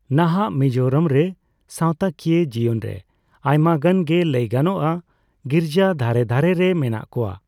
ᱱᱟᱦᱟᱜ ᱢᱤᱡᱳᱨᱟᱢ ᱨᱮ ᱥᱟᱣᱛᱟ ᱠᱤᱭᱟᱹ ᱡᱤᱭᱚᱱ ᱨᱮ ᱟᱭᱢᱟᱜᱟᱱ ᱜᱮ ᱞᱟᱹᱭᱜᱟᱱᱚᱜᱼᱟ ᱜᱤᱨᱡᱟ ᱫᱷᱟᱨᱮ ᱫᱷᱟᱨᱮ ᱨᱮ ᱢᱮᱱᱟᱜ ᱠᱚᱣᱟ ᱾